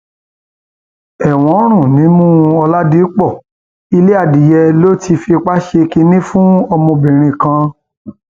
ẹwọn ń rùn nímú ọládípò ilé adìẹ ló ti fipá ṣe kínní fún ọmọbìnrin kan